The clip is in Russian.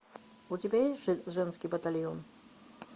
у тебя есть женский батальон